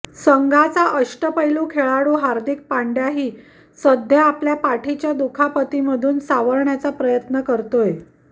संघाचा अष्टपैलू खेळाडू हार्दिक पांड्याही सध्या आपल्या पाठीच्या दुखापतीमधून सावरण्याचा प्रयत्न करतोय